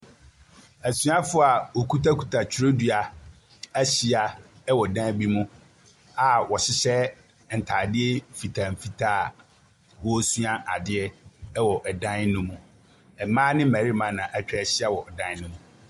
Asuafoɔ a wɔkutakuta twerɛdua ahyia wɔ dan bi mu a wɔhyehyɛ ntadeɛ mfitaa mfitaa a wɔresua adeɛ wɔ dan no mu. Mmaa ne mmarina na atwa ahyia wɔ dan ano mu.